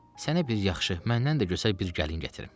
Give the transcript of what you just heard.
Sənə bir yaxşı, məndən də gözəl bir gəlin gətirim.